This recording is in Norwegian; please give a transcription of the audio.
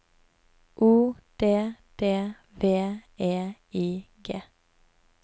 O D D V E I G